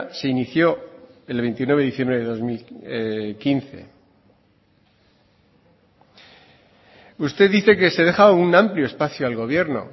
se inició el veintinueve de diciembre de dos mil quince usted dice que se deja un amplio espacio al gobierno